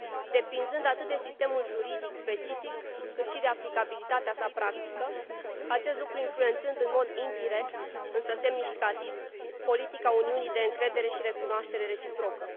depinzând atât de sistemul juridic specific, cât și de aplicabilitatea sa practică, acest lucru influențând în mod indirect, însă semnificativ, politica Uniunii de încredere și recunoaștere reciprocă.